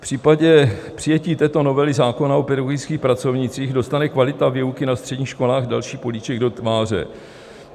V případě přijetí této novely zákona o pedagogických pracovnících dostane kvalita výuky na středních školách další políček do tváře.